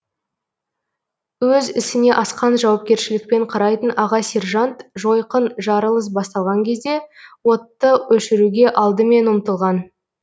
өз ісіне асқан жауапкершілікпен қарайтын аға сержант жойқын жарылыс басталған кезде отты өшіруге алдымен ұмтылған